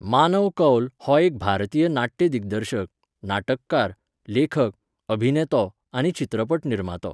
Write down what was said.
मानव कौल हो एक भारतीय नाट्य दिग्दर्शक, नाटककार, लेखक, अभिनेतो आनी चित्रपट निर्मातो.